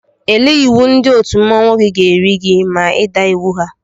Ele iwu ndị otu mmanwụ gị ga-eri gị maka ịda iwu ha?